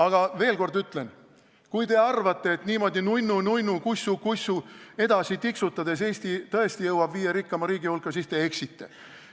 Aga veel kord ütlen: kui te arvate, et niimoodi nunnu-nunnu, kussu-kussu edasi tiksutades Eesti tõesti jõuab viie rikkaima riigi hulka, siis te eksite.